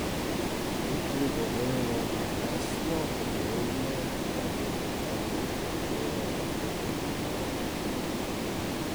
Jutri bo deloma jasno, popoldne pa bo oblačnost od severa spet naraščala.